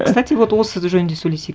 кстати вот осы жөнінде сөйлесейік